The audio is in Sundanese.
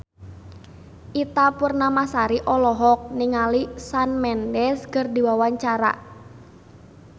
Ita Purnamasari olohok ningali Shawn Mendes keur diwawancara